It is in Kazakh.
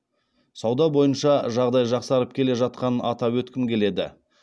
сауда бойынша жағдай жақсарып келе жатқанын атап өткім келеді